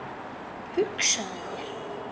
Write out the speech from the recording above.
Hugsaðu þér!